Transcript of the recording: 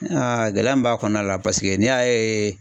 Aa gɛlɛya min b'a kɔnɔna la paseke n'i y'a ye